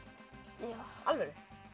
já alvöru